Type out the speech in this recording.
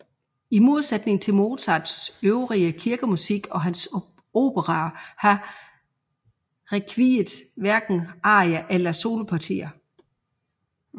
I modsætning til Mozarts øvrige kirkemusik og hans operaer har rekviet hverken arier eller solopartier